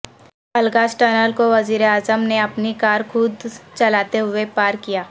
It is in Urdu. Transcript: الغاز ٹنل کو وزیر اعظم نے اپنی کار خود چلاتے ہوئے پار کیا